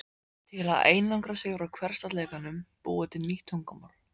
Til að einangra sig frá hversdagsleikanum búið til nýtt tungumál